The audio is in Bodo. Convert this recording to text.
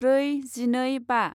ब्रै जिनै बा